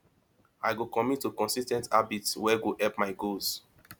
i go commit to consis ten t habits wey go help my goals